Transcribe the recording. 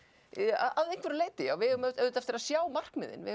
að einhverju leyti já við eigum auðvitað eftir að sjá markmiðin við